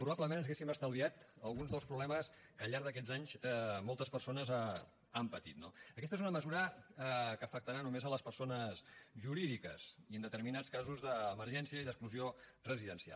probablement ens hauríem estalviat alguns dels problemes que al llarg d’aquests anys moltes persones han patit no aquesta és una mesura que afectarà només les persones jurídiques i en determinats casos d’emergència i d’exclusió residencial